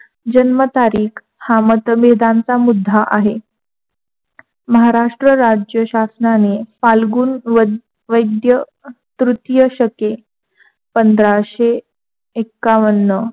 जन्म तारीख हा मतभेदांचा मुद्दा आहे. महाराष्ट्र राज्य शासनाने फाल्गुन वै वैद्य तृतीय सके पंधराशेएकावन्न